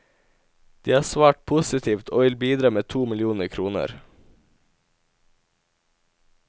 De har svart positivt og vil bidra med to millioner kroner.